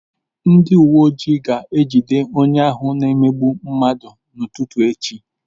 Ndị uwe ojii ga-aga ijide onye ahụ na-emegbu mmadụ n'ụtụtụ echi.